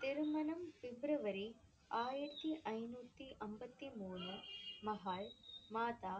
திருமணம் பிப்ரவரி ஆயிரத்தி ஐந்நூத்தி அம்பத்தி மூணு மாதா